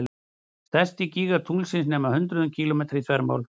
Stærstu gígar tunglsins nema hundruðum kílómetra að þvermáli.